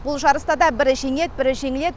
бұл жарыста да бірі жеңеді бірі жеңіледі